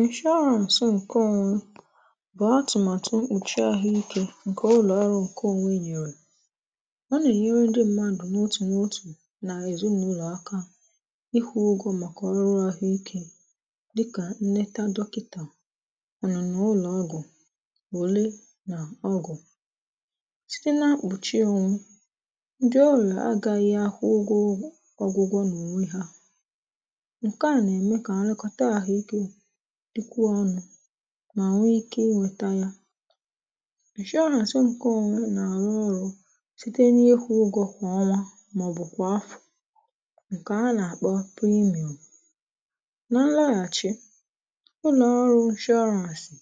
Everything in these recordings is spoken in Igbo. ǹshọọrans ǹke onwe bụ̀ atụ̀màtụ nche ahụ ikė ǹkè ụlọ̀ ọrụ̇ ǹkeonwe nyèrè ọ nà-ènyere ndị mmadụ̀ n’otù n’otù nà ezinàụlọ̀ aka ịkwụ̇ ụgọ̇ màkà ọrụahụ ikė dịkà nleta dọkịtà ọnụnụ ụlọ̀ ọgụ̀ ule nà ọgụ̀ site na? ndị ọrị̀à agaghị akwụ ụgwọ ọgwụgwọ nà ònwe hȧ nkea na-eme ka nlekọta ahụike dịkwụ ọnụ̇ mà nwee ike ịnweta yȧ nshọọrans ǹkọònwe nà-àrụ ọrụ̇ site n’ịkwụ̇ ụgọ̇ kwà ọnwa mà ọ̀ bụ̀ kwà afọ̀ ǹkè a nà-àkpọ praịmu̇ụ̇ nà nlaghàchi ụlọ̀ ọrụ̇ ịnshọrȧnsị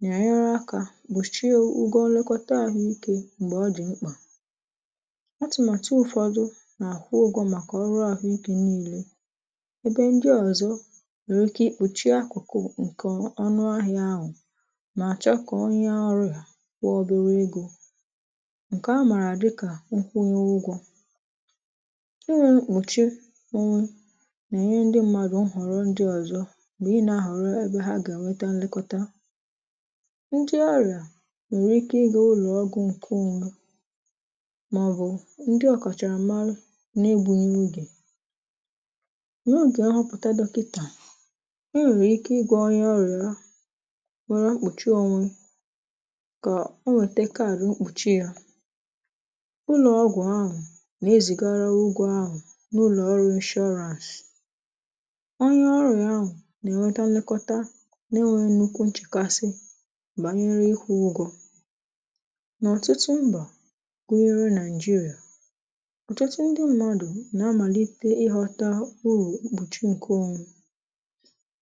nà-enyere akȧ gbòchie ụgwọ̇ nlekọta àhụ ikė m̀gbè ọ dị̀ mkpà atụ̀màtụ ụ̀fọdụ nà-àkwụ ụgwọ̇ màkà ọrụ ahụ ikė niilė ebe ndị ọzọ nwere ike kpuchie akụkụ ǹkè ọnụ ahịa ahụ̀ nà-àchọ kà onye ọrịa kwụọ obere egȯ ǹkè a màrà dị kà nkwụ onye ụgwọ̇ inwė nkpùche onwe nà-ènye ndi mmadụ̀ nhọrọ ndi ọzọ bụ ị nȧ-ahọ̀rọ ebe ha gà-ènweta nlekọta ndị ọrịà nwèrè ike ị gà ụlọ̀ ọgwụ ǹkè onwe mà ọ̀ bụ̀ ndị ọkachàramara n’egbùghị ọgè? ahụpụ̀ta dọkịtà enwere ike ịgwọ onye ọrịa nwere mkpùchi onwe kà o wètè kaadị mkpùchi yȧ ụlọ̀ ọgwụ̀ ahụ̀ nà-ezigara ugwu ahụ̀ n’ụlọ̀ ọrụ inshọrans ọnyẹ̇ ọrị̀a ahụ̀ gà ẹ̀nwẹtẹ nlekọta nà ẹnwẹ nnukwu nchẹ̀kasị bànyere ịkwụ ụgwọ n’ọtụtụ mbà gụnyere nàịjịrịà ọtụtụ ndị mmadụ nà amàlite ịghọ̇tȧ urù mkpùchi ǹke onwe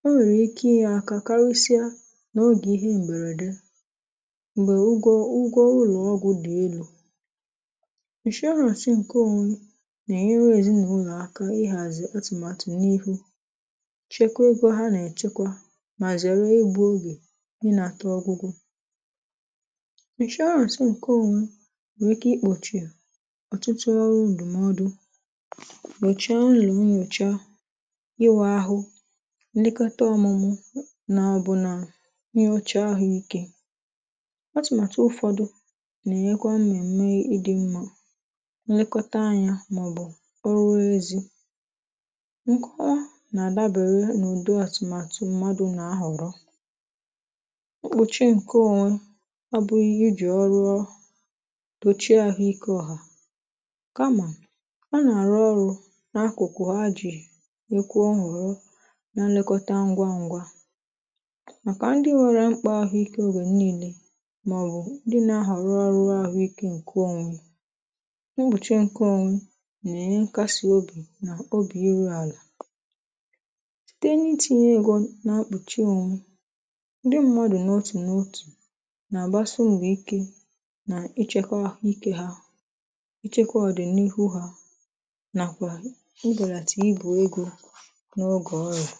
o nwèrè ike ịnye aka karịsịa n’ogè ihe m̀bèrède m̀bè ụgwọ ụgwọ ụlọ̀ọgwụ̀ dị elu̇ ǹshorans ǹke ȯnwė nà-ènyere ezìnàụlọ̀ aka n’ihàzi atụ̀màtụ̀ n’ihu chekwa ogė ha nà-èchekwa mà zẹ̀rẹ̀ igbu ogè ịnàta ọgwụgwọ̇ ǹshọọrans ǹke ȯnwė nwèrè ike ịkpòchi ọtụtụ ọrụ ǹdụmọdụ ?ihe ọchị ahụ ikė atụ̀màtụ̀ ụ̀fọdụ nà-ènyekwa mmèmme ịdị̇ mmȧ nlekọta anya màọbụ̀ orụwezi nkọwa nà-àdabere n’ụ̀dị àtụ̀màtụ̀ mmadụ̀ nà ahọrọ̀ mkpùchi ǹke onwe abụghị iji̇ ọrụọ dochie ahụikė ọ̀hà kamà a nà-àrụ ọrụ n’akụ̀kụ̀ ha jì? na nlekọta ngwa ngwa màkà ndị nwẹ̇rẹ̇ mkpà ahụ ikė oge niilė màọbụ̀ ndị nȧ-ȧhọ̀ rụọ rụọ ahụ ikė ǹkẹ onwe ubùche nke onwee nà ẹ̀nyẹ nkasi obì nà obì iru àlà site n’itìnyẹ egȯ nà-mkpùchie nwẹ̀ ndị mmadụ̀ nà otù nà otù nà àgbasi mbọ ike nà ịchẹ̇kọ̇ ahụ ikė ha ịchẹ̇kọ̇ ọ̀dị̀nịhu hȧ nàkwà ịbèràtà ịbi egȯ n’oge ọrị̀a